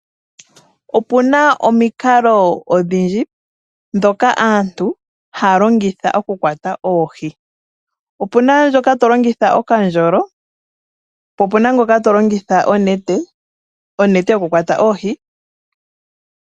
Opuna omikalo odhi ndji dhoka aantu aa longitha okukwata oohi. Opuna ngoka tolongitha okandjolo po opena ngoka to longitha onete yo kukwata oohi.